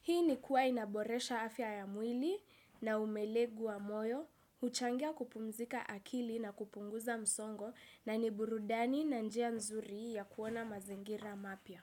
Hii ni kuwa inaboresha afya ya mwili na umelegu wa moyo, uchangia kupumzika akili na kupunguza msongo na niburudani na njia nzuri ya kuona mazingira mapya.